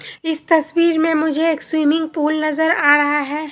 इस तस्वीर में मुझे एक स्विमिंग पूल नजर आ रहा है।